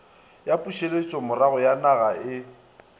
ya pušetšomorago ya ninaga e